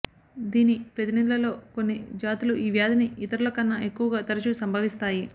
దీని ప్రతినిధులలో కొన్ని జాతులు ఈ వ్యాధిని ఇతరులకన్నా ఎక్కువగా తరచుగా సంభవిస్తాయి